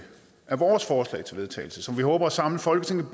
er vores forslag til vedtagelse som vi håber at samle folketinget